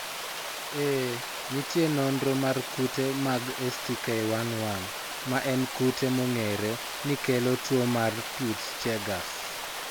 Ee, nitie nonro mar kute mag STK11, ma en kute mong'ere ni kelo tuwo mar Peutz Jeghers.